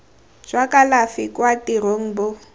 jwa kalafi kwa tirong bo